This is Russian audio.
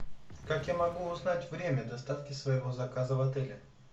как я могу узнать время доставки своего заказа в отеле